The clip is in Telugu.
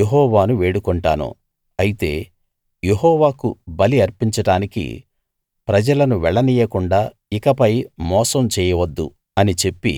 యెహోవాను వేడుకొంటాను అయితే యెహోవాకు బలి అర్పించడానికి ప్రజలను వెళ్ళనీయకుండా ఇకపై మోసం చేయవద్దు అని చెప్పి